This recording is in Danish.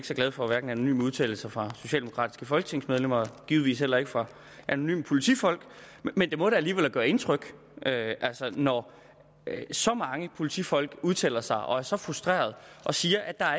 så glad for anonyme udtalelser fra socialdemokratiske folketingsmedlemmer og givetvis heller ikke fra anonyme politifolk men det må da alligevel gøre indtryk når så mange politifolk udtaler sig og er så frustrerede og siger at der